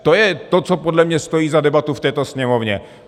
To je to, co podle mě stojí za debatu v této Sněmovně.